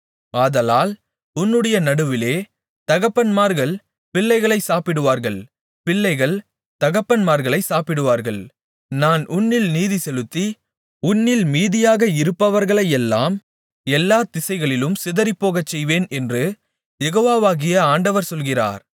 ஆதலால் உன்னுடைய நடுவிலே தகப்பன்மார்கள் பிள்ளைகளைச் சாப்பிடுவார்கள் பிள்ளைகள் தகப்பன்மார்களைச் சாப்பிடுவார்கள் நான் உன்னில் நீதிசெலுத்தி உன்னில் மீதியாக இருப்பவர்களையெல்லாம் எல்லா திசைகளிலும் சிதறிப்போகச்செய்வேன் என்று யெகோவாகிய ஆண்டவர் சொல்லுகிறார்